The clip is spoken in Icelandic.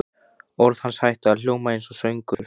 Orð hans hætta að hljóma einsog söngur.